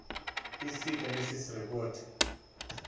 iseed analysis report